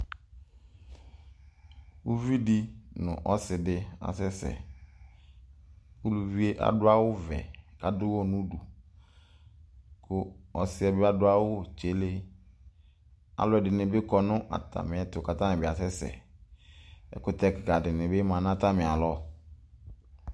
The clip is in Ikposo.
Ʋvidi nʋ ɔsidi asɛsɛ ʋlʋvi yɛ adʋ awʋvɛ kʋ adʋ ʋwɔ nʋ ʋdʋ kʋ ɔsiyɛ bi adʋ awʋ tsele alʋ ɛdini bi kɔ nʋ atami ɛtʋ kʋ atani bi asɛsɛ ɛkʋtɛ kika kika dini bi manʋ atami alɔ